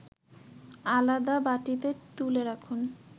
আলাদা বাটিতে তুলে রাখুন